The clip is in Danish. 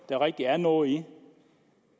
der rigtig er noget i